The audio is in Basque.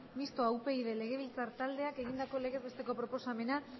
mistoa upyd legebiltzar taldeak egindako legez besteko proposamena